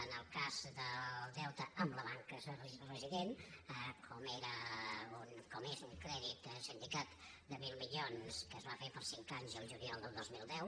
en el cas del deute amb la banca resident com és un crèdit sindicat de mil milions que es va fer per cinc anys el juliol del dos mil deu